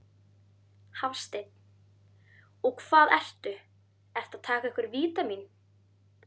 Hafsteinn: Og hvað ertu, ertu að taka einhver vítamín?